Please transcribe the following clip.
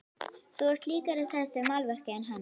Þú ert líkari þessu málverki en hann.